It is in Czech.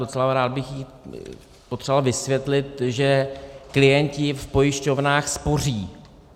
Docela rád bych jí potřeboval vysvětlit, že klienti v pojišťovnách spoří.